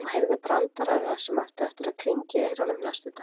Og heyrði brandarana sem áttu eftir að klingja í eyrunum næstu dagana.